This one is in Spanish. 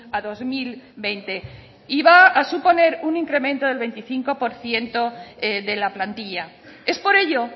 a dos mil veinte amaitzen joan y va a suponer un incremento del veinticinco por ciento de la plantilla es por ello